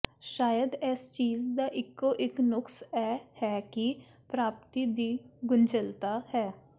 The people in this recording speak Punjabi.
ਸ਼ਾਇਦ ਇਸ ਚੀਜ ਦਾ ਇੱਕੋ ਇੱਕ ਨੁਕਸ ਇਹ ਹੈ ਕਿ ਪ੍ਰਾਪਤੀ ਦੀ ਗੁੰਝਲਤਾ ਹੈ